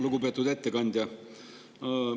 Lugupeetud ettekandja!